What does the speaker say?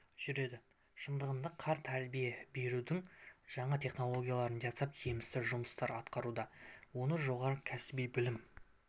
жүреді шындығында қар тәрбие берудің жаңа технологиясы жасалып жемісті жұмыстар атқарылуда оны жоғары кәсіби білім